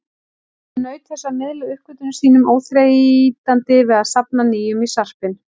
Hún naut þess að miðla uppgötvunum sínum, óþreytandi við að safna nýjum í sarpinn.